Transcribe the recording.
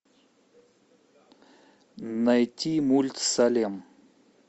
найти мульт салем